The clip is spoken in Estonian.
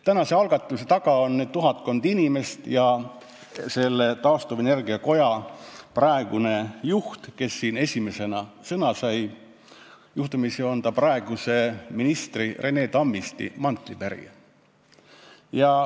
Tänase algatuse taga on tuhatkond inimest ja taastuvenergia koja praegune juht, kes siin esimesena sõna sai ja on juhtumisi praeguse ministri Rene Tammisti mantlipärija.